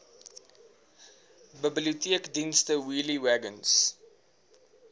biblioteekdienste wheelie wagons